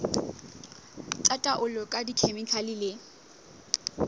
tsa taolo ka dikhemikhale le